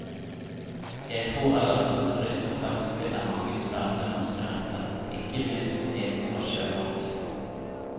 Jeg tror ellers at turister flest finner mange spennende norske retter, ikke minst innenfor sjømat.